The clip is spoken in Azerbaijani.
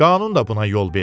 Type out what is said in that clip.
Qanun da buna yol vermir.